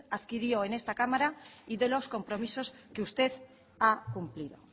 adquirió en esta cámara y de los compromisos que usted ha cumplido